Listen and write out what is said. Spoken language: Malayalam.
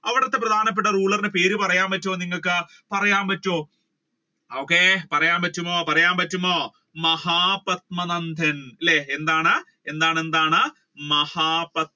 അവിടത്തെ പ്രധാനപ്പെട്ട ruler ടെ പേര് പറയാൻ പറ്റുവോ? okay നിങ്ങൾക്ക് പറയാൻ പറ്റുവോ പറയാൻ പറ്റുവോ പറയാൻ പറ്റുവോ പറയാൻ പറ്റുവോ മഹാപത്മാനന്ദൻ അല്ലെ എന്താണ് എന്താണ് മഹാ പത്മ.